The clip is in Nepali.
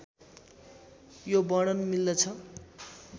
यो वर्णन मिल्दछ